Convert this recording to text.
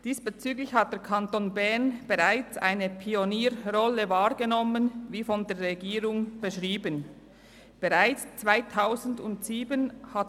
Diesbezüglich hat der Kanton Bern bereits eine Pionierrolle wahrgenommen, wie sie von der Regierung beschrieben worden ist.